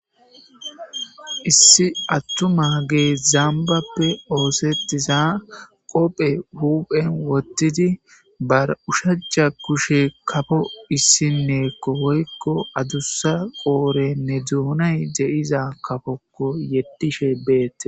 issi attuma gee zambappe oosetiza qophe huphen wottidi bar ushaca kushe kafo issinneekko hoykko adussa qoore ne duunay de7iza kafokko yeddishe beette